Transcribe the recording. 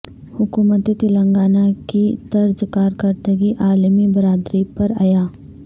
حکومت تلنگانہ کی طرز کارکردگی عالمی برادری پر عیاں